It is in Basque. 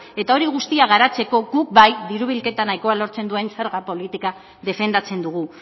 eta hori guztia garatzeko guk bai diru bilketa nahiko lortzen duen zerga politika defendatzen dugu